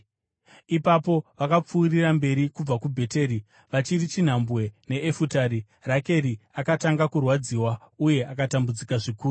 Ipapo vakapfuurira mberi kubva kuBheteri. Vachiri chinhambwe neEfurati, Rakeri akatanga kurwadziwa uye akatambudzika zvikuru.